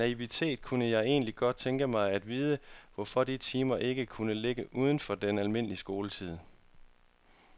I min naivitet kunne jeg egentlig godt tænke mig at vide, hvorfor de timer ikke kunne ligge uden for den almindelige skoletid.